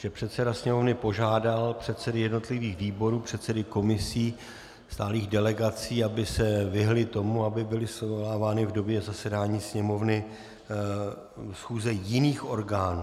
Že předseda Sněmovny požádal předsedy jednotlivých výborů, předsedy komisí, stálých delegací, aby se vyhnuli tomu, aby byly svolávány v době zasedání Sněmovny schůze jiných orgánů.